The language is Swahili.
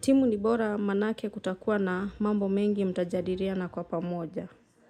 Timu ni bora manake kutakuwa na mambo mengi mtajadiliana kwa pamoja.